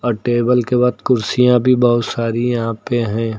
और टेबल के बाद कुर्सियां भी बहुत सारी यहां पे हैं।